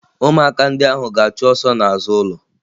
Ụmụaka ndị ahụ ga-achụ ọsọ n'azụ ụlọ